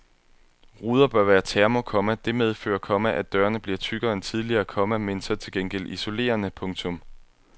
Ruder bør være termo, komma det medfører, komma at dørene bliver tykkere end tidligere, komma men så til gengæld isolerende. punktum